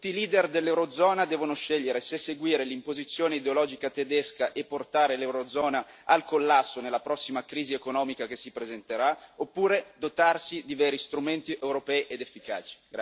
Tutti i leader dell'Eurozona devono scegliere se seguire l'imposizione ideologica tedesca e portare l'Eurozona al collasso nella prossima crisi economica che si presenterà oppure dotarsi di veri strumenti europei ed efficaci.